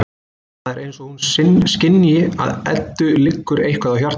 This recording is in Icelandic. Það er eins og hún skynji að Eddu liggur eitthvað á hjarta.